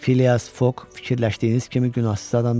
Filias Foq fikirləşdiyiniz kimi günahsız adam deyil.